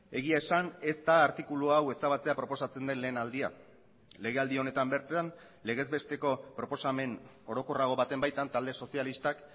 egia esan ez da artikulu hau ezabatzea proposatzen den lehen aldia legealdi honetan bertan legez besteko proposamen orokorrago baten baitan talde sozialistak